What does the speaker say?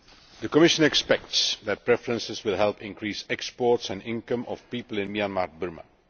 The Commission expects that preferences will help increase exports and the income of people in Myanmar Burma.